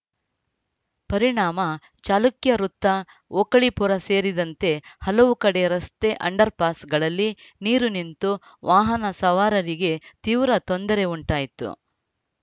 ಪರಿಣಾಮ ಚಾಲುಕ್ಯ ವೃತ್ತ ಓಕಳೀಪುರ ಸೇರಿದಂತೆ ಹಲವು ಕಡೆ ರಸ್ತೆ ಅಂಡರ್‌ಪಾಸ್‌ಗಳಲ್ಲಿ ನೀರು ನಿಂತು ವಾಹನ ಸವಾರರಿಗೆ ತೀವ್ರ ತೊಂದರೆ ಉಂಟಾಯಿತು